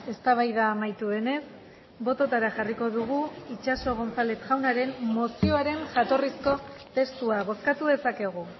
eztabaida amaitu denez bototara jarriko dugu itxaso gonzález jaunaren mozioaren jatorrizko testua bozkatu dezakegu